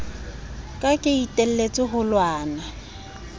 ka ke iteletse ho lwana